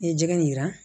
N'i ye jɛgɛ in yira